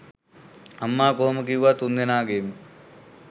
අම්මා කොහොම කිව්වත් තුන්දෙනාගේම